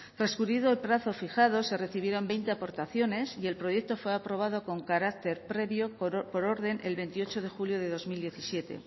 transcurrido el plazo fijado se recibieron veinte aportaciones y el proyecto fue aprobado con carácter previo por orden el veintiocho de julio de dos mil diecisiete